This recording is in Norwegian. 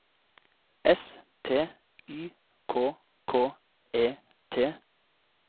S T Y K K E T